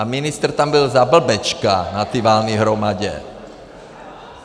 A ministr tam byl za blbečka na té valné hromadě.